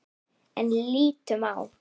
En lítum á.